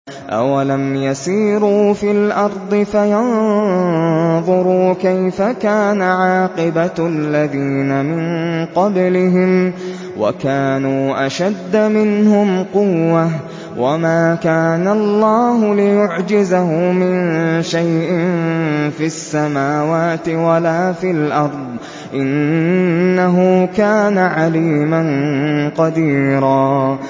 أَوَلَمْ يَسِيرُوا فِي الْأَرْضِ فَيَنظُرُوا كَيْفَ كَانَ عَاقِبَةُ الَّذِينَ مِن قَبْلِهِمْ وَكَانُوا أَشَدَّ مِنْهُمْ قُوَّةً ۚ وَمَا كَانَ اللَّهُ لِيُعْجِزَهُ مِن شَيْءٍ فِي السَّمَاوَاتِ وَلَا فِي الْأَرْضِ ۚ إِنَّهُ كَانَ عَلِيمًا قَدِيرًا